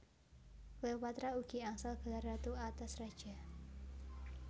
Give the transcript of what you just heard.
Cleopatra ugi angsal gelar Ratu atas Raja